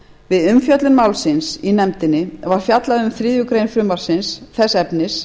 við umfjöllun málsins í nefndinni var fjallað um þriðju greinar frumvarpsins þess efnis